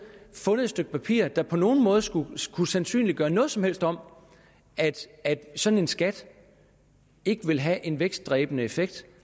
fundet et stykke papir der på nogen måde skulle skulle sandsynliggøre noget som helst om at sådan en skat ikke ville have en vækstdræbende effekt